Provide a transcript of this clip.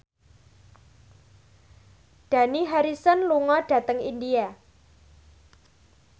Dani Harrison lunga dhateng India